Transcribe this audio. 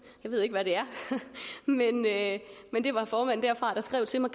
jeg ved ikke hvad det er men det var formanden derfra der skrev til mig